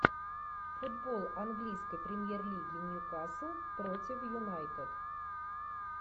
футбол английской премьер лиги ньюкасл против юнайтед